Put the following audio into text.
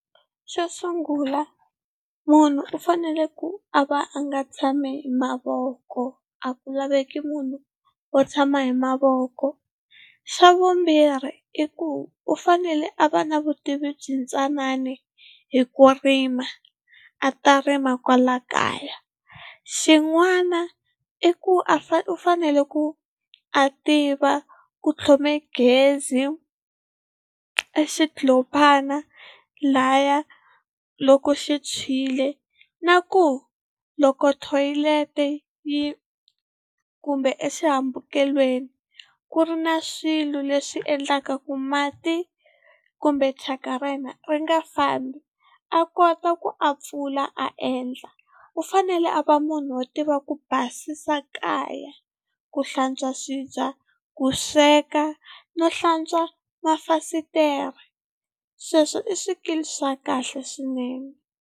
Xo sungula munhu u fanele ku a va a nga tshami hi mavoko a ku laveki munhu wo tshama hi mavoko. Xa vumbirhi i ku u fanele a va na vutivi byi ntsanani hi ku rima, a ta rima kwala kaya. Xin'wana i ku a u fanele ku a tiva ku tlhome gezi exindlulupha lahaya loko xi tshwile, na ku loko thoyilete yi kumbe exihambukelweni ku ri na swilo leswi endlaka ku mati kumbe thyaka ra yena ri nga fambi a kota ku a pfula a endla. U fanele a va munhu wo tiva ku basisa kaya, ku hlantswa swibye, ku sweka no hlantswa mafasitere sweswo i swikili swa kahle swinene.